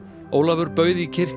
Ólafur bauð í